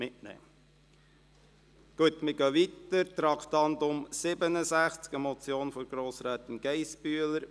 Wir fahren fort mit dem Traktandum 67, einer Motion von Grossrätin Geissbühler: